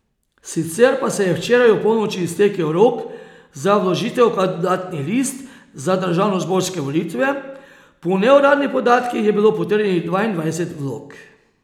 Sicer pa se je včeraj opolnoči iztekel rok za vložitev kandidatnih list za državnozborske volitve, po neuradnih podatkih je bilo potrjenih dvaindvajset vlog.